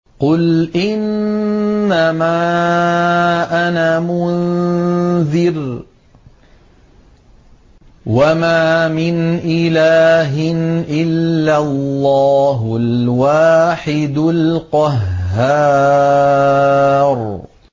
قُلْ إِنَّمَا أَنَا مُنذِرٌ ۖ وَمَا مِنْ إِلَٰهٍ إِلَّا اللَّهُ الْوَاحِدُ الْقَهَّارُ